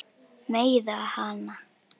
Meiða hana.